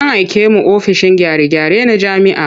An aike mu ofishin gyare-gyare na jami'a.